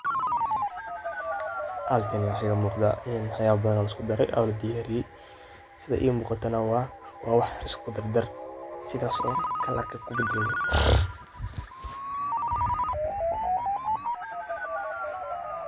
Halkaan waxaa iga muqdha waax yaala badan oo laisku daraay oo la diyariyay sidha ee muqatanaa wa waax isku daar daar sidha soor .